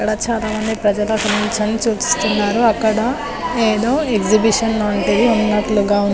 ఇక్కడ చాలా మంది ప్రజలు నించుని చూస్తున్నారు అక్కడ ఏదో ఎక్సిబిషన్ లాంటిది ఉన్నట్లుగా --